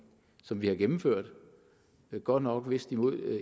som vi har gennemført godt nok vist imod